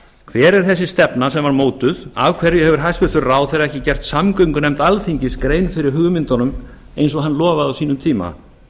hver er þessi stefna sem var mótuð af hverju hefur hæstvirtur ráðherra ekki gert samgöngunefnd alþingis grein fyrir hugmyndunum eins og hann lofaði á sínum tíma